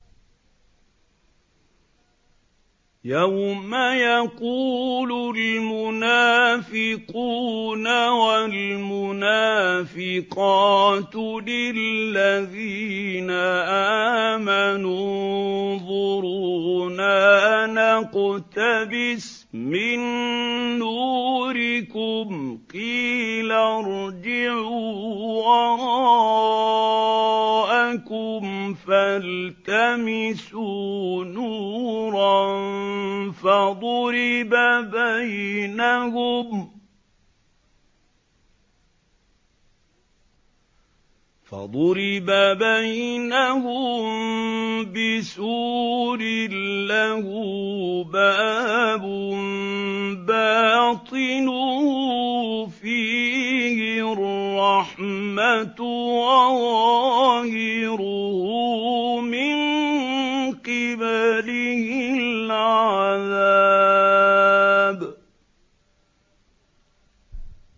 يَوْمَ يَقُولُ الْمُنَافِقُونَ وَالْمُنَافِقَاتُ لِلَّذِينَ آمَنُوا انظُرُونَا نَقْتَبِسْ مِن نُّورِكُمْ قِيلَ ارْجِعُوا وَرَاءَكُمْ فَالْتَمِسُوا نُورًا فَضُرِبَ بَيْنَهُم بِسُورٍ لَّهُ بَابٌ بَاطِنُهُ فِيهِ الرَّحْمَةُ وَظَاهِرُهُ مِن قِبَلِهِ الْعَذَابُ